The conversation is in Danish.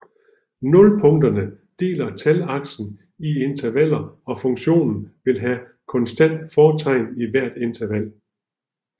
Nulpunkterne deler talaksen i intervaller og funktionen vil have konstant fortegn i hvert interval